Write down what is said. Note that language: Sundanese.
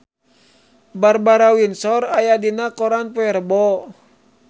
Barbara Windsor aya dina koran poe Rebo